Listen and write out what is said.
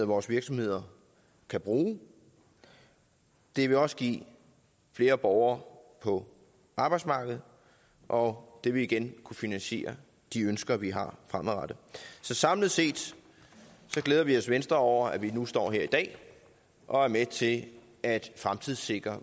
vores virksomheder kan bruge og det vil også give flere borgere på arbejdsmarkedet og det vil igen kunne finansiere de ønsker vi har fremadrettet så samlet set glæder vi os i venstre over at vi nu står her i dag og er med til at fremtidssikre